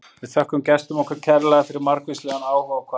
Við þökkum gestum okkar kærlega fyrir margvíslegan áhuga og hvatningu.